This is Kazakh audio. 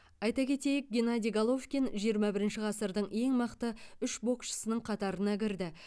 айта кетейік геннадий головкин жиырма бірінші ғасырдың ең мықты үш боксшысының қатарына кірді